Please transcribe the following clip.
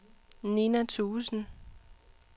Nina Thuesen